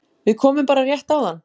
Við komum bara rétt áðan